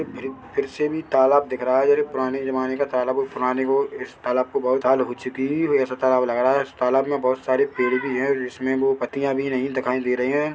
फिर फिर से भी तालाब दिख रहा है जो पुराने जमाने का तालाब है पुराने लोग इस तालाब को बहोत साल हो चुकी हुई हो ऐसा तालाब लग रहा है इस तालाब मे बहोत सारे पेड़ भी है इसमे वो पत्तियां भी नहीं दिखाई दे रही है।